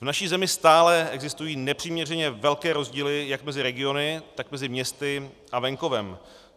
V naší zemi stále existují nepřiměřeně velké rozdíly jak mezi regiony, tak mezi městy a venkovem.